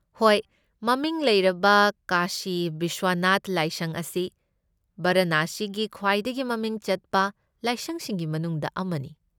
ꯍꯣꯏ꯫ ꯃꯃꯤꯡ ꯂꯩꯔꯕ ꯀꯥꯁꯤ ꯕꯤꯁ꯭ꯋꯅꯥꯊ ꯂꯥꯏꯁꯪ ꯑꯁꯤ ꯕꯔꯥꯅꯁꯤꯒꯤ ꯈ꯭ꯋꯥꯏꯗꯒꯤ ꯃꯃꯤꯡ ꯆꯠꯄ ꯂꯥꯏꯁꯪꯁꯤꯡꯒꯤ ꯃꯅꯨꯡꯗ ꯑꯃꯅꯤ꯫